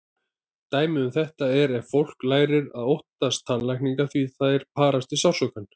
Dæmi um þetta er ef fólk lærir að óttast tannlækna því þeir parast við sársauka.